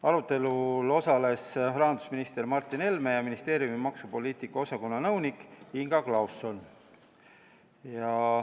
Arutelul osales rahandusminister Martin Helme ja ministeeriumi maksupoliitika osakonna nõunik Inga Klauson.